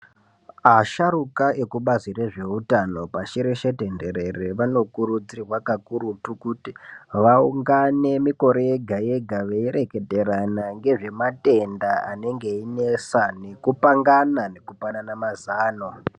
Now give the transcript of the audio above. Asharuka ekubazi rezvehutano pashi reshe tenderere vanokurudzirwa kakurutu vaungane mikore yega yega weireketerana ngezvematenda anenge einesa nekupangana nekupanana mazano.